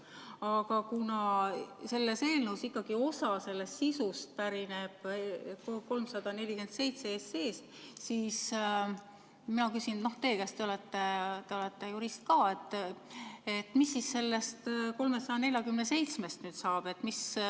Aga kuna osa selle eelnõu sisust pärineb ikkagi eelnõust 347, siis mina küsin teie käest, te olete jurist, et mis sellest 347-st nüüd saab.